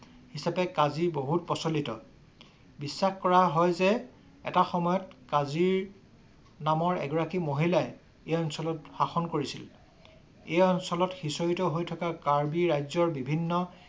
কাজি বহুত প্ৰচলিত বিশ্বাস কৰা হয় যে এটা সময়ত কাজিৰ নামৰ এগৰাকী মহিলাই এই অঞ্চলত শাসন কৰিছিল। এই অঞ্চলত সিঁচৰতি হৈ থকা কাৰ্বি ৰাজ্যৰ বিভিন্ন